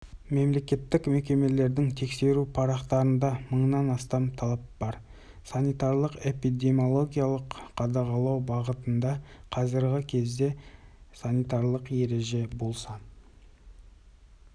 мемлекеттік мекемелердің тексеру парақтарында мыңнан астам талап бар санитарлық-эпидемиологиялық қадағалау бағытында қазіргі кезде санитарлық ереже болса